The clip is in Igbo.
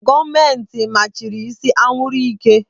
Gọọmenti machiri ise anwụrụ ike.